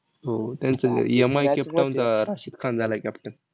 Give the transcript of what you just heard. वीस